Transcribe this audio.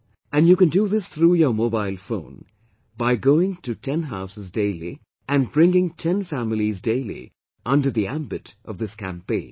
And you can do this through your mobile phone by going to 10 houses daily and bringing 10 families daily under the ambit of this campaign